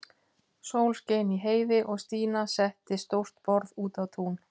Sól skein í heiði og Stína setti stórt borð út á tún.